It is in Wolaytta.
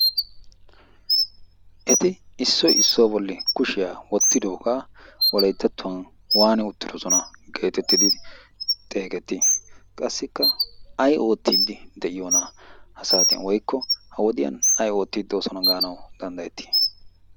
Eti issoy issuwa bolli kushiya wottidoogaa Wolayttattuwan waani uttidosona geetettidi xeegettii? qassikka ay oottiddi de'iyonaa? ha saatiyan woykko ha wodiyan ay oottiddi doosona gaanawu danddayettii?